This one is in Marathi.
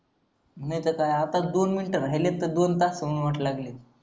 नाहीतर काय आता दोन मिनटं राहिलीत तर दोन तासाहून वाटाय लागलेत